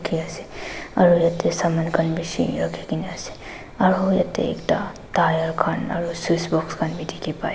aru yatae saman khan bishi rakhikena ase aro yatae ekta tyre khan aro switch box khan bi dikhipaiase.